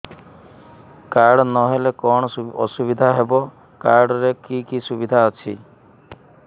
card ନହେଲେ କଣ ଅସୁବିଧା ହେବ କାର୍ଡ ରେ କି କି ସୁବିଧା ଅଛି